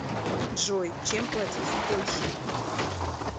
джой чем платить в польше